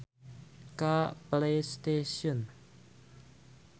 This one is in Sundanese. Loba anu ngalamar gawe ka Playstation